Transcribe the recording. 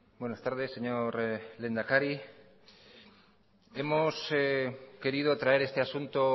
buenas tardes señor lehendakari hemos querido traer este asunto